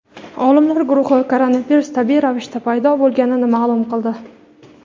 Olimlar guruhi koronavirus tabiiy ravishda paydo bo‘lganini ma’lum qildi.